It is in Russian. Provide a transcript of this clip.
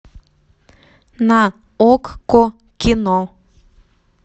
на окко кино